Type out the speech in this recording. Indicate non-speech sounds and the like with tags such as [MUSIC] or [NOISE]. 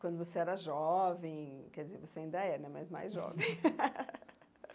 Quando você era jovem, quer dizer, você ainda é, né, mas mais jovem. [LAUGHS]